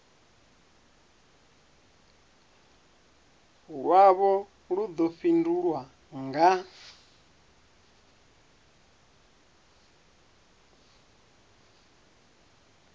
lwavho lu ḓo fhindulwa nga